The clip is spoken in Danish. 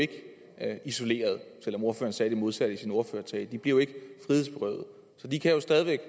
isoleret selv om ordføreren sagde det modsatte i sin ordførertale de bliver jo ikke frihedsberøvet så de kan jo stadig væk